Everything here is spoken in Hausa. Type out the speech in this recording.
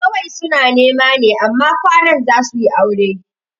Kawai suna nema ne amma kwanan za suyi aure